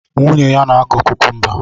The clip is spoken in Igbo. Nwunye ya na-akọ kukumba